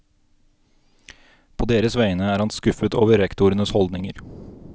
På deres vegne er han skuffet rektorenes holdninger.